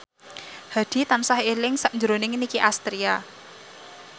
Hadi tansah eling sakjroning Nicky Astria